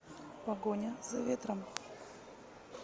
погоня за ветром